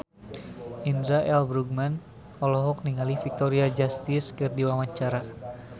Indra L. Bruggman olohok ningali Victoria Justice keur diwawancara